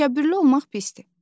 Təkəbbürlü olmaq pisdir.